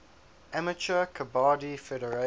amateur kabaddi federation